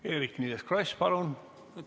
Eerik-Niiles Kross, palun!